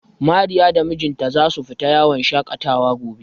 Mariya da mijinta za su fita yawon shaƙatawa gobe.